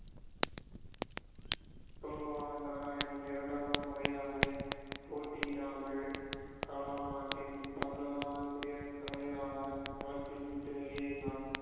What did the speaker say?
K R Narayanan இரண்டாவது முறையாக போட்டியிடாமல் கலாம் நாட்டின் பதினொறாவது குடியரசுத் தலைவராக களத்தில் விட்டு வெளியேறினார்